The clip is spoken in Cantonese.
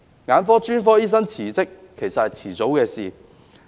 眼科專科醫生辭職，其實是早晚的事。